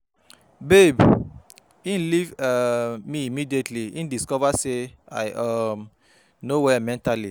Babe, he leave um me immediately he discover say I um no well mentally